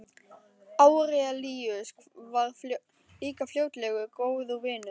Árelíus varð líka fljótlega góður vinur minn.